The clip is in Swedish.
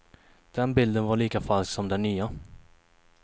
Den bilden var lika falsk som den nya.